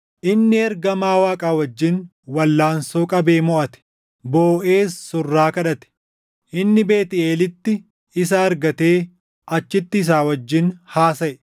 Inni ergamaa Waaqaa wajjin walʼaansoo qabee moʼate; booʼees surraa kadhate. Inni Beetʼeelitti isa argatee achitti isa wajjin haasaʼe.